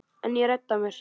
En ég redda mér.